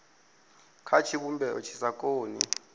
kha tshivhumbeo tshi sa koni